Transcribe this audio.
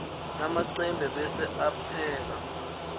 lamacembe bese upheka